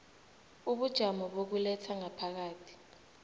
ubujamo bokuletha ngaphakathi